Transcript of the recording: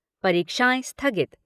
परीक्षाएं स्थगित